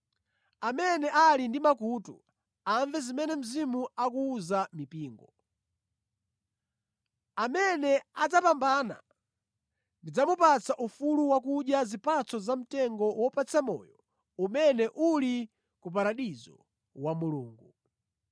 Amene ali ndi makutu, amve zimene Mzimu akuwuza mipingo. Amene adzapambana, ndidzamupatsa ufulu wakudya zipatso za mtengo wopatsa moyo umene uli ku paradizo wa Mulungu.